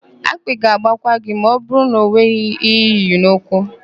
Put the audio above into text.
Akpị ga-agbakwa gị ma ọbụrụ na enweghị íhé íyì n'ụkwụ.